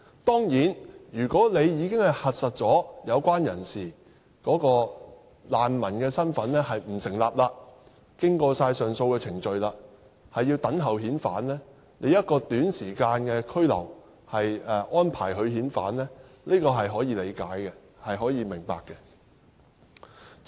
當然，如果有關人士的難民身份已經被核實不成立，並已經過上訴程序，那麼拘留一段短時間等候遣返，是可以理解和明白的。